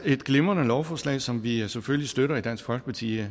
et glimrende lovforslag som vi selvfølgelig støtter i dansk folkeparti i